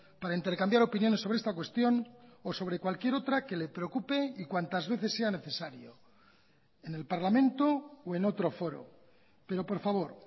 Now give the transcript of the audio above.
para intercambiar opiniones sobre esta cuestión o sobre cualquier otra que le preocupe y cuantas veces sea necesario en el parlamento o en otro foro pero por favor